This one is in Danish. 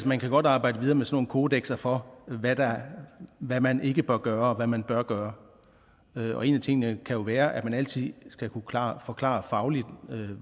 man kan godt arbejde videre med sådan nogle kodekser for hvad man ikke bør gøre og hvad man bør gøre og en af tingene kan jo være at man altid skal kunne forklare fagligt